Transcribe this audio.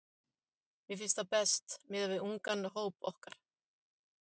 Mér finnst það best miðað við ungan hóp okkar.